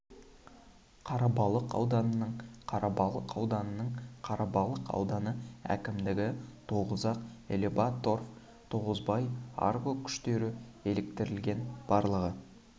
қарабалық ауданының қарабалық ауданының қарабалық ауданы әкімдігі тогузак элеваторф тогузбай арго кұштері еліктірілген барлығы